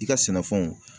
I ka sɛnɛfɛnw